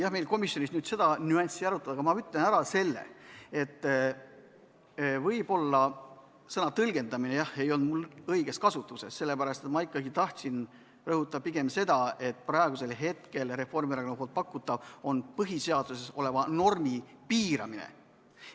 Kuigi meil komisjonis seda nüanssi ei arutatud, aga ma ütlen ära selle, et võib-olla sõna "tõlgendamine" ei olnud mul õigesti kasutuses, sest ma ikkagi tahtsin rõhutada pigem seda, et praegu Reformierakonna pakutav on põhiseaduses oleva normi piiramine.